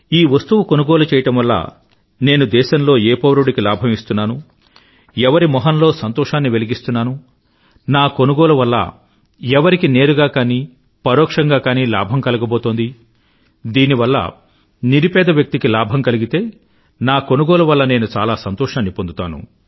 ఈ వస్తువు కొనుగోలు చెయ్యడం వల్ల నేను దేశంలో ఏ పౌరుడికి లాభం ఇస్తున్నానుఎవరి మొహంలో సంతోషాన్ని వెలిగిస్తున్నాను నా కొనుగోలు వల్ల ఎవరికి నేరుగా కానీ పరోక్షంగా గానీ లాభం కలగబోతోంది దీని వల్ల నిరుపేద వ్యక్తికి లాభం కలిగితే నా కొనుగోలు వల్ల నేను చాలా సంతోషాన్ని పొందుతాను